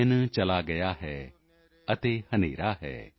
ਦਿਨ ਚਲਾ ਗਿਆ ਹੈ ਤੇ ਹਨ੍ਹੇਰਾ ਹੈ